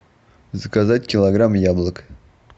заказать килограмм яблок